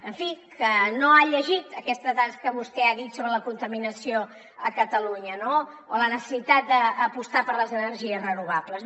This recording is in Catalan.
en fi que no ha llegit aquestes dades que vostè ha dit sobre la contaminació a catalunya no o la necessitat d’apostar per les energies renovables